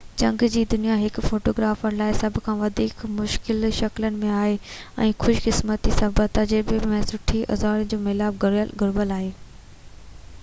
جهنگ جي دنيا هڪ فوٽو گرافر لاءِ سڀ کان وڌيڪ مشڪل شڪلن ۾ آهي ۽ خوش قسمتي صبر تجربي ۽ سٺي اوزارن جو ميلاپ گهربل آهي